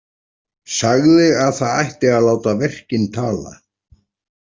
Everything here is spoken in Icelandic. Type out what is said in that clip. Sagði að það ætti að láta verkin tala.